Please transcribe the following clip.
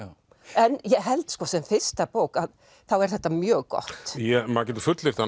en ég held sko sem fyrsta bók þá er þetta mjög gott maður getur fullyrt að